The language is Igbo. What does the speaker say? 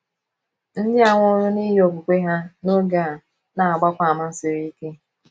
Ndị a nwụrụ n’ihi okwukwe ha n’oge a na - agbakwa àmà siri ike.